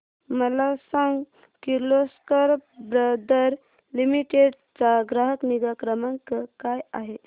मला सांग Kirloskar brother limited चा ग्राहक निगा क्रमांक काय आहे